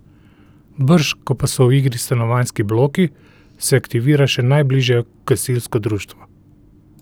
Brž ko pa so v igri stanovanjski bloki, se aktivira še najbližje gasilsko društvo.